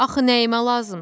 Axı nəyimə lazımdır?